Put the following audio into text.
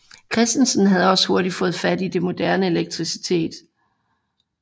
Christensen havde også hurtigt fået fat i det moderne elektricitet